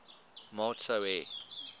maat sou hê